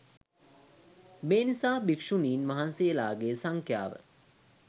මේ නිසා භික්ෂුණීන් වහන්සේලාගේ සංඛ්‍යාව